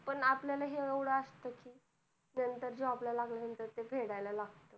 पण आपल्याला ह्यो load असतोच नंतर job ला लागल्यांनंतर ते फेडायला लागतंय.